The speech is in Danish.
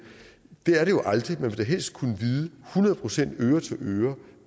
det er det jo aldrig ville da helst kunne vide hundrede procent øre til øre